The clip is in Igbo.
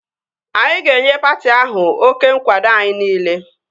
Anyị ga-enye patị ahụ oké nkwado anyị niile